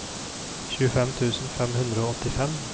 tjuefem tusen fem hundre og åttifem